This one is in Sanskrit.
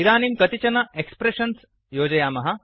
इदानीं कानिचन एक्स्प्रेषन्स् योजयामः